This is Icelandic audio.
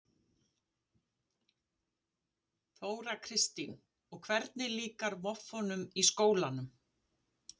Þóra Kristín: Og hvernig líkar voffunum í skólanum?